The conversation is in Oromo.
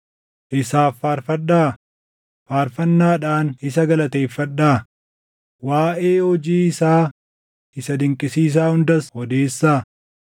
Isaaf faarfadhaa; faarfannaadhaan isa galateeffadhaa; waaʼee hojii isaa isa dinqisiisaa hundaas odeessaa.